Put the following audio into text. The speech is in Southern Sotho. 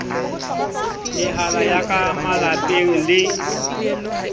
mehala ya ka malapeng le